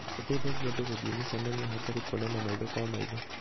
ĩteithagia andũ gũthiĩ mĩcemanio hatarĩ kuonana maitho kwa maitho.